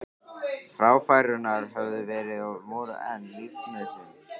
Fráfærurnar höfðu verið og voru enn lífsnauðsyn.